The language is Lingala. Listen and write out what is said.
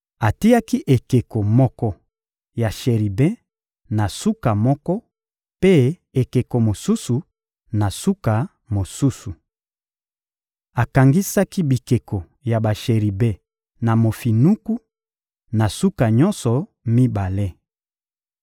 Atiaki ekeko moko ya sheribe na suka moko, mpe ekeko mosusu, na suka mosusu. Akangisaki bikeko ya basheribe na mofinuku, na suka nyonso mibale.